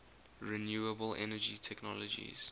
renewable energy technologies